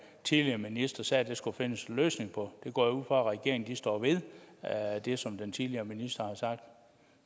tidligere minister også sagde at der skulle findes en løsning på jeg går ud fra at regeringen står ved det som den tidligere minister har sagt